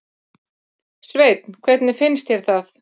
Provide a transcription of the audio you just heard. Sveinn: Hvernig finnst þér það?